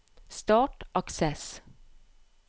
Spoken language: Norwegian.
Start Access